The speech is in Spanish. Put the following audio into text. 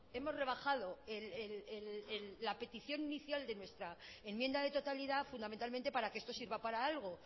hemos rebajado la petición inicial de nuestra enmienda de totalidad fundamentalmente para que esto sirva para algo